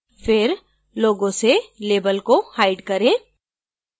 फिर logo से label को hide करें